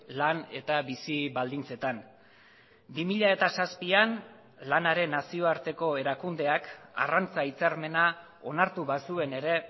lan eta bizi baldintzetan bi mila zazpian lanaren nazioarteko erakundeak arrantza hitzarmena onartu bazuen ere